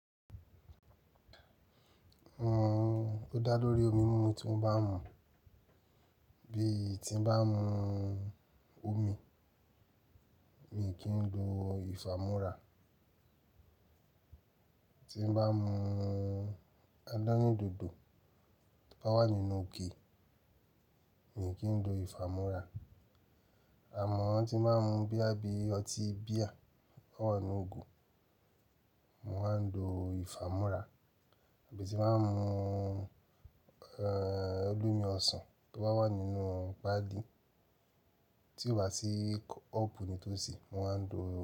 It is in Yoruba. Òun ó dá lórí omi mímu tí wọ́n bá mu. Bí tí bá mú omi, mi kì í lo ìfàmúra. Tí bá mú adánì dòdò tó bá wà nínú ike, mi kì í lo ìfàmúrà. Àmọ́ tí máa ń mu bíà bí i ọtí bíà tó wà nínú ìgò, mo máa ń lo ìfàmúrà. Àbí tí máa ń mú ẹ̀ olómi ọsàn tó bá wà nínú páálí tí ó wà sí kọ́ọ̀pù ní tòsí, mo máa ń lo.